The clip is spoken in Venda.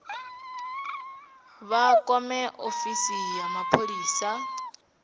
vha kwame ofisi ya mapholisa